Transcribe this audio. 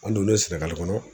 An donnen Sénégal kɔnɔ